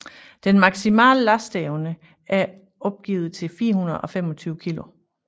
Den maksimale lasteevne er opgivet til 425 kg